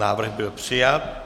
Návrh byl přijat.